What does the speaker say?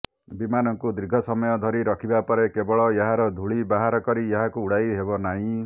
ବିମାନକୁ ଦୀର୍ଘ ସମୟ ଧରି ରଖିବା ପରେ କେବଳ ଏହାର ଧୂଳି ବାହାର କରି ଏହାକୁ ଉଡାଇ ହେବନାହିଁ